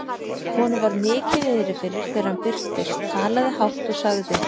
Honum var mikið niðri fyrir þegar hann birtist, talaði hátt og sagði